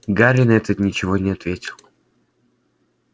гарри на это ничего не ответил